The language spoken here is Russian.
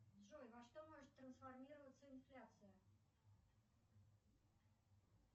джой на что может трансформироваться инфляция